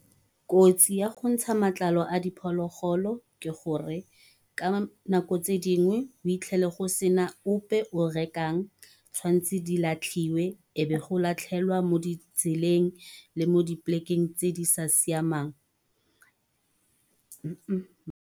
Kotsi ya go ntsha matlalo a diphologolo ke gore, ka nako tse dingwe o itlhele go sena ope o rekang. Tshwantse di latlhiwa, e be go latlhelwa mo ditseleng, le mo diplekeng tse di sa siamang.